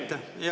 Aitäh!